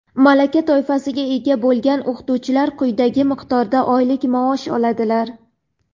malaka toifasiga ega bo‘lgan o‘qituvchilar quyidagi miqdorda oylik maosh oladilar:.